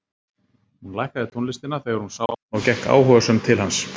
Hún lækkaði tónlistina þegar hún sá hann og gekk áhugasöm til hans.